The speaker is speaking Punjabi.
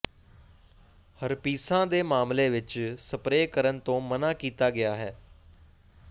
ਹਰਪੀਸਾਂ ਦੇ ਮਾਮਲੇ ਵਿਚ ਸਪਰੇਅ ਕਰਨ ਤੋਂ ਮਨ੍ਹਾ ਕੀਤਾ ਗਿਆ ਹੈ